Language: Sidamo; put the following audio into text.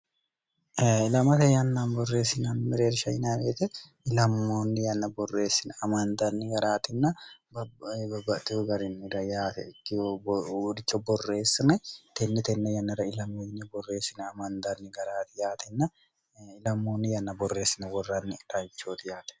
lamate yanna borreessina mireer shinaweete ilammoonni ynna borreessina amaandaanni garaatinna bbabbatihu garinira yaate ikkih uuricha borreessina tennitenna yannara ilammonye borreessina amandaanni garaati yaatinnailammoonni yanna borreessina worraanni dhayichooti yaate